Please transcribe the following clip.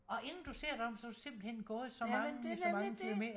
Og inden du ser dig om så har du simpelthen gået som mange så mange kilometer